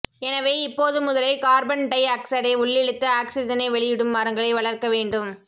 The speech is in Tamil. எனவே இப்போது முதலே கார்பன் டை ஆக்சைடை உள்ளிழுத்து ஆக்சிஜனை வெளியிடும் மரங்களை வளர்க்க வேண்டும்